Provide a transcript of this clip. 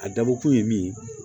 A dabɔ kun ye min ye